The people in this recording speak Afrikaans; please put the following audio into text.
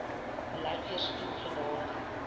beleid weerspieel sodanige